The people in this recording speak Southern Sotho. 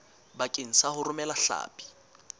bakeng sa ho romela hlapi